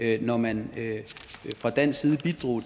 at når man fra dansk side bidrog